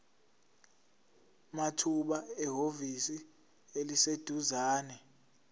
mathupha ehhovisi eliseduzane